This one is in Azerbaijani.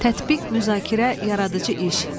Tətbiq, müzakirə, yaradıcı iş.